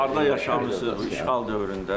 Siz harda yaşamısınız işğal dövründə?